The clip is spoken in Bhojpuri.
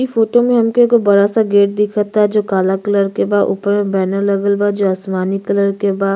इ फोटो में हमके एगो बड़ा-सा गेट दिखअ ता जो काला कलर के बाऊपर में बैनर लगल बा जो आसमानी कलर के बा।